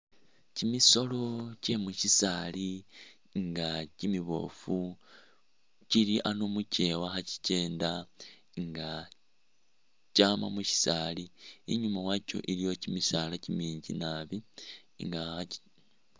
Kyimisoolo kyemushisaali nga kyimibofu kyili ano muchewa khakyikenda nga kyama mushisaali inyuma wakyo iliyo kyimisaala kyiminji naabi nga...